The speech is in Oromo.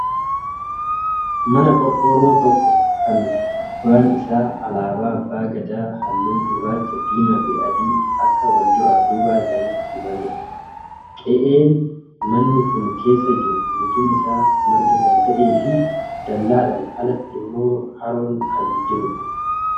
Mana qorqoorroo tokko kan gubbaan isaa alaabaa abbaa gadaa haalluu gurraacha, diimaafi adii akka walduraa duuba isaaniittii dibamedha. Qe'een manni kun keessa jiru guutuun isaa marga kan ta'eefi dallaadhaan alatti immoo haroon kan jirudha.